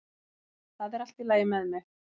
Það er allt í lagi með mig